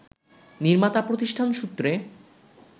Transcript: নির্মাতা প্রতিষ্ঠান সূত্রে